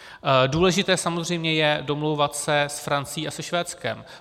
Důležité samozřejmě je domlouvat se s Francií a se Švédskem.